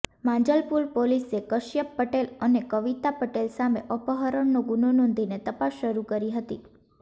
માંજલપુર પોલીસે કશ્યપ પટેલ અને કવિતા પટેલ સામે અપહરણનો ગુનો નોંધીને તપાસ શરુ કરી હતી